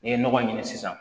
N'i ye nɔgɔ ɲini sisan